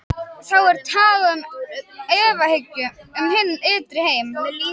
Þá er talað um efahyggju um hinn ytri heim.